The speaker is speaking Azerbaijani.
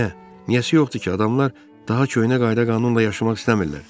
Niyəsi yoxdur ki, adamlar daha köhnə qayda-qanunla yaşamaq istəmirlər.